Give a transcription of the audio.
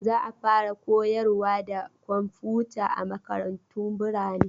Za a fara koyarwa da komfuta a makarantu birane